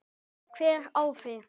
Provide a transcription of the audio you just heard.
Hver á þig?